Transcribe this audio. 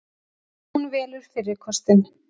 Hún velur fyrri kostinn.